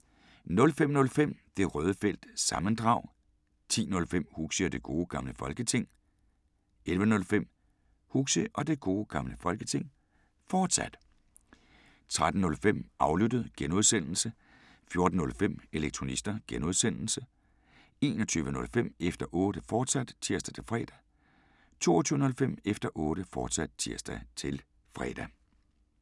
05:05: Det Røde Felt – sammendrag 10:05: Huxi og Det Gode Gamle Folketing 11:05: Huxi og Det Gode Gamle Folketing, fortsat 13:05: Aflyttet (G) 14:05: Elektronista (G) 21:05: Efter Otte, fortsat (tir-fre) 22:05: Efter Otte, fortsat (tir-fre)